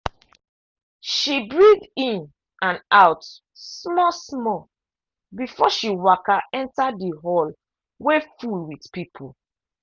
she breathe in and out small-small before she waka enter the hall wey full with people.